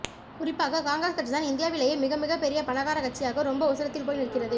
குறிப்பாக காங்கிரஸ் கட்சிதான் இந்தியாவிலேயே மிக மிகப் பெரிய பணக்கார கட்சியாக ரொம்ப உசரத்தில் போய் நிற்கிறது